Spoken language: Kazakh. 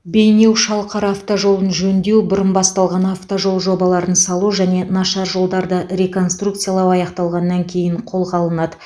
бейнеу шалқар автожолын жөндеу бұрын басталған автожол жобаларын салу және нашар жолдарды реконструкциялау аяқталғаннан кейін қолға алынады